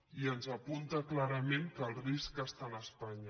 i ens apunta clarament que el risc és a espanya